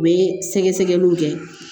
U bɛ sɛgɛsɛgɛliw kɛ